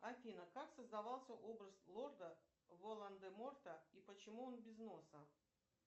афина как создавался образ лорда волан де морта и почему он без носа